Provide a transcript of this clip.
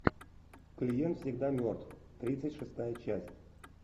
клиент всегда мертв тридцать шестая часть